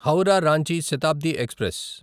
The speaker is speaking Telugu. హౌరా రాంచి శతాబ్ది ఎక్స్ప్రెస్